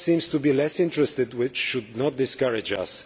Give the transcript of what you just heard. Others seem to be less interested, but that should not discourage us.